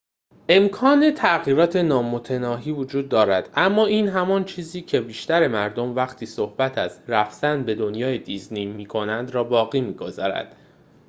امکان تغییرات نامتناهی وجود دارد اما این همان چیزی که بیشتر مردم وقتی صحبت از رفتن به دنیای دیزنی می کنند را باقی می گذارد